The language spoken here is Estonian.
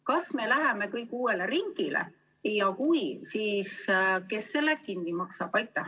Kas me läheme kõik uuele ringile ja kui, siis kes selle kinni maksab?